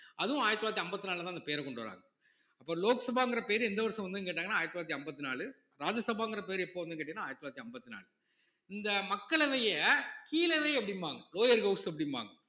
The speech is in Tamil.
அதுவும் ஆயிரத்தி தொள்ளாயிரத்தி அம்பத்தி நாலுலதான் அந்த பேர கொண்டு வர்றாங்க அப்போ லோக் சபாங்கிற பேரு எந்த வருஷம் வந்ததுன்னு கேட்டாங்கன்னா ஆயிரத்தி தொள்ளாயிரத்தி அம்பத்தி நாலு ராஜ்யசபாங்கிற பேரு எப்போ வந்ததுன்னு கேட்டீங்கன்னா ஆயிரத்தி தொள்ளாயிரத்தி அம்பத்தி நாலு இந்த மக்களவையை கீழவை அப்படிம்பாங்க lower house அப்படிம்பாங்க